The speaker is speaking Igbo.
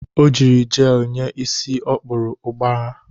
O jiri jelu nye isi ọ kpụrụ ụgbara.